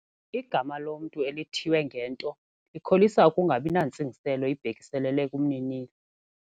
Igama lomntu elithiywe ngento likholisa ukungabi nantsingiselo ibhekiselele kumninilo.